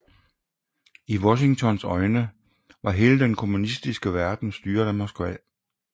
I Washingtons øjne var hele den kommunistiske verden styret af Moskva